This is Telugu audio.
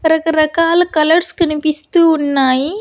రకరకాల కలర్స్ కనిపిస్తూ ఉన్నాయి.